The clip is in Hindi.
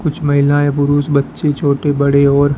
कुछ महिलाएं पुरुष बच्चे छोटे बड़े और--